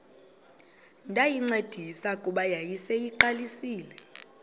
ndayincedisa kuba yayiseyiqalisile